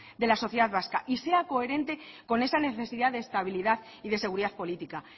de la sociedad vasca y sea coherente con esa necesidad de estabilidad y de seguridad política